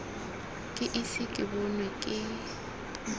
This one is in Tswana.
ke ise ke bonwe ke